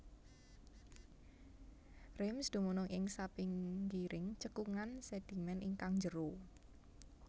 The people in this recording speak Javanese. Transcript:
Reims dumunung ing sapinggiring cekungan sédhimèn ingkang jero